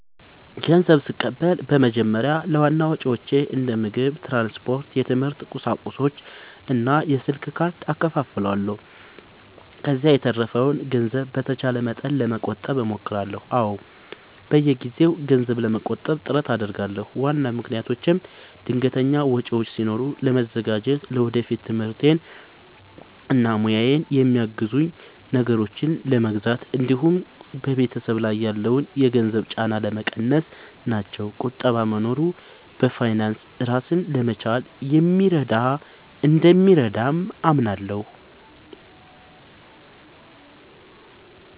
ንዘብ ስቀበል በመጀመሪያ ለዋና ወጪዎቼ እንደ ምግብ፣ ትራንስፖርት፣ የትምህርት ቁሳቁሶች እና የስልክ ካርድ እከፋፍለዋለሁ። ከዚያ የተረፈውን ገንዘብ በተቻለ መጠን ለመቆጠብ እሞክራለሁ። አዎ፣ በየጊዜው ገንዘብ ለመቆጠብ ጥረት አደርጋለሁ። ዋና ምክንያቶቼም ድንገተኛ ወጪዎች ሲኖሩ ለመዘጋጀት፣ ለወደፊት ትምህርቴን እና ሙያዬን የሚያግዙ ነገሮችን ለመግዛት እንዲሁም በቤተሰብ ላይ ያለውን የገንዘብ ጫና ለመቀነስ ናቸው። ቁጠባ መኖሩ በፋይናንስ ራስን ለመቻል እንደሚረዳ አምናለሁ።